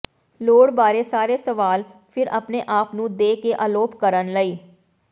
ਲੋੜ ਬਾਰੇ ਸਾਰੇ ਸਵਾਲ ਫਿਰ ਆਪਣੇ ਆਪ ਨੂੰ ਦੇ ਕੇ ਅਲੋਪ ਕਰਨ ਲਈ